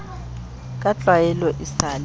ka tlwaelo e sa le